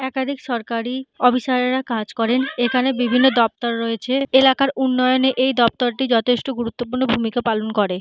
একাধিক সরকারি অফিসার -রা কাজ করেন। এইখানে বিভিন্ন দপ্তর রয়েছে । এলাকার উন্নয়নে এই দপ্তরটি গুরুর্ত্ব পূর্ণ ভূমিকা পালন করে।